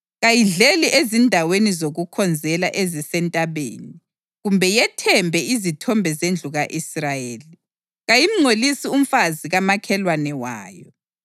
Kayidleli ezindaweni zokukhonzela ezisentabeni, kumbe yethembe izithombe zendlu ka-Israyeli. Kayimngcolisi umfazi kamakhelwane wayo.